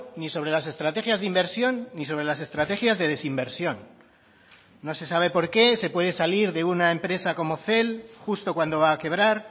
ni sobre las estrategias de inversión ni sobre las estrategias de desinversión no se sabe por qué se puede salir de una empresa como cel justo cuando va a quebrar